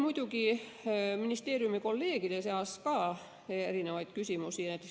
Ka ministeeriumi kolleegidel oli muidugi erinevaid küsimusi.